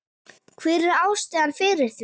Hver var ástæðan fyrir því?